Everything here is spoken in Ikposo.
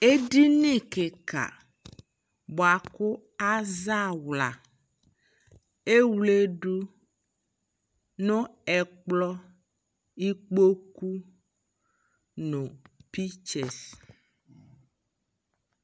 ɛdini kikaa bʋakʋ azaa awla, ɛwlɛdʋ nʋ ɛkplɔ, ikpɔkʋ nʋ pictures